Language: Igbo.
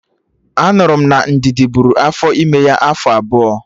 Anụrụ m na Ndidi bụrụ afọ ime ya afọ abụọ